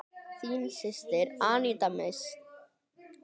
Þín systir, Aníta Mist.